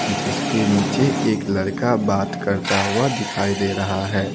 जिसके नीचे एक लड़का बात करता हुआ दिखाई दे रहा है।